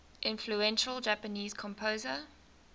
influential japanese composer